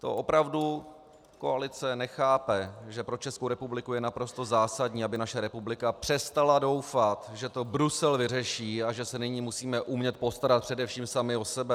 To opravdu koalice nechápe, že pro Českou republiku je naprosto zásadní, aby naše republika přestala doufat, že to Brusel vyřeší a že se nyní musíme umět postarat především sami o sebe?